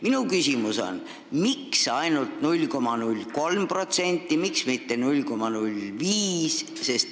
Minu küsimus on selline: miks ainult 0,03%, miks mitte 0,05%?